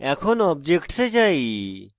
এখন objects এ যাই